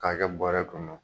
K'a kɛ buarɛ kɔnɔ